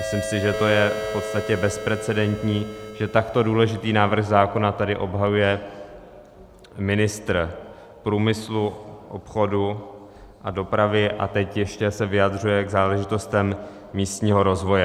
Myslím si, že to je v podstatě bezprecedentní, že takto důležitý návrh zákona tady obhajuje ministr průmyslu, obchodu a dopravy, a teď ještě se vyjadřuje k záležitostem místního rozvoje.